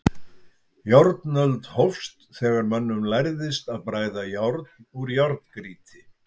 Járnöld hófst þegar mönnum lærðist að bræða járn úr járngrýti.